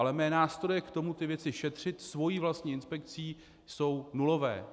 Ale mé nástroje k tomu ty věci šetřit svou vlastní inspekcí jsou nulové.